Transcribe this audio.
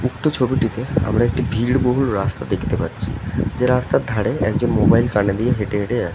উক্ত ছবিটিতে আমরা একটা ভিড় বহুল রাস্তা ডাকতেপাচ্ছি যে রাস্তার ধারে একজন মোবাইল কানে নিয়ে হেটে হেটে যা--